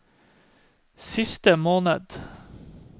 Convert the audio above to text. siste måned